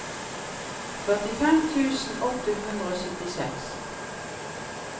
førtifem tusen åtte hundre og syttiseks